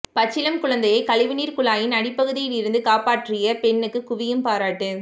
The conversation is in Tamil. பச்சிளம் குழந்தையை கழிவு நீர் குழாயின் அடிப்பகுதியில் இருந்து காப்பாற்றிய பெண்ணுக்கு குவியும் பாராட்டு